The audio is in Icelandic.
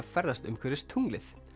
ferðast umhverfis tunglið